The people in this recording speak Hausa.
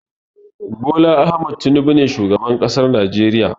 Bola Ahmad Tinubu ne shugaban ƙasan najeriya.